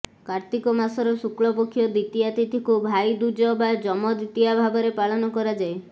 କାର୍ତ୍ତିକ ମାସର ଶୁକ୍ଳପକ୍ଷ ଦ୍ୱିତୀୟା ତିଥିକୁ ଭାଇ ଦୂଜ ବା ଯମ ଦ୍ୱିତୀୟା ଭାବରେ ପାଳନ କରାଯାଏ